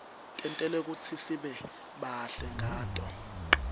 tentelwe kutsi sibe bahle ngato